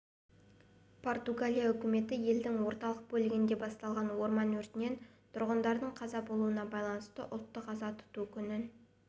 португалия үкіметі елдің орталық бөлігінде басталған орман өртінен тұрғындардың қаза болуына байланысты ұлттық аза тұту күнін